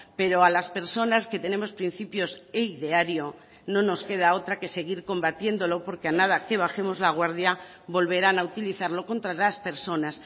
pero a las personas que tenemos principios e ideario no nos queda otra que seguir combatiéndolo porque a nada que bajemos la guardia volverán a utilizarlo contra las personas